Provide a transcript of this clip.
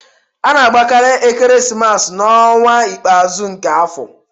A na-agbakarị ekeresimesi n'ọnwa ikpeazụ nke afọ